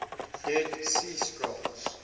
dead sea scrolls